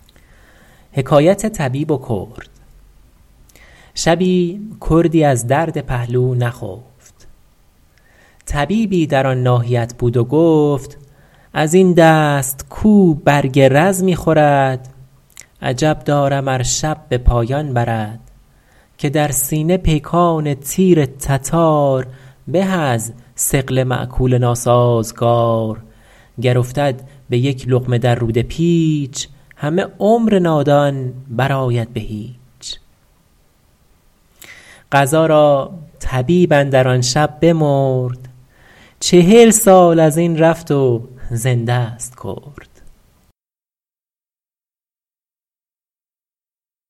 شبی کردی از درد پهلو نخفت طبیبی در آن ناحیت بود و گفت از این دست کاو برگ رز می خورد عجب دارم ار شب به پایان برد که در سینه پیکان تیر تتار به از ثقل مأکول ناسازگار گر افتد به یک لقمه در روده پیچ همه عمر نادان بر آید به هیچ قضا را طبیب اندر آن شب بمرد چهل سال از این رفت و زنده ست کرد